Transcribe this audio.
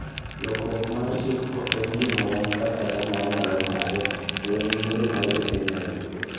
Lokruok mar chik ok en gima wan kaka chama wanyalo ng'ado - to en yiero mar Jo Kenya duto.